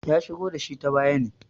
ya shigo da shi ta baya ne